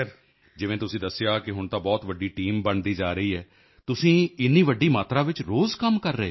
ਜਿਵੇਂ ਤੁਸੀਂ ਦੱਸਿਆ ਕਿ ਹੁਣ ਤਾਂ ਬਹੁਤ ਵੱਡੀ ਟੀਮ ਬਣਦੀ ਜਾ ਰਹੀ ਹੈ ਤੁਸੀਂ ਇੰਨੀ ਵੱਡੀ ਮਾਤਰਾ ਵਿੱਚ ਰੋਜ਼ ਕੰਮ ਕਰ ਰਹੇ ਹੋ